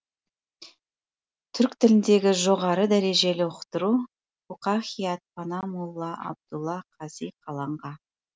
түрк тіліндегі жоғары дәрежелі ұқтыру фуқахият пана молла абдулла қази каланға